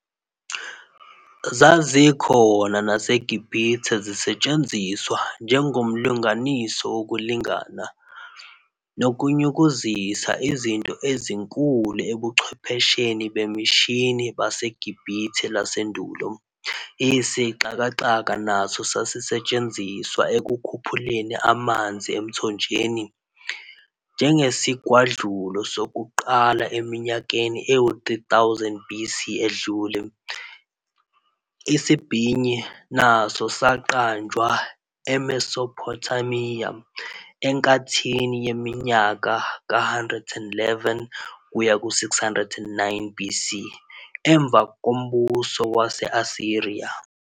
Zazikhona naseGibhithe zisetshenziswa njengomlunganiso wokulingana, nokunyukuzisa izinto ezinkulu ebuchwepheshenibemishini baseGubhithe lasendulo. Isixakaxo naso sasisetshenziselwa ekukhuphuleni amanzi emthonjeni, njengesigwadlulo sokuqala eminyakeni eyizi-3000 BC edlule. Isibhinyi, naso saqanjwa eMesophothamiya, enkathini yeminyaka, ka-911 kuya ku-609 BC, emva kombuso wase-Asiriya.